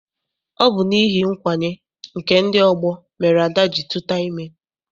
Ọ bụ n'ihi nkwanye nke ndị ọgbọ mere Ada ji tuta ime.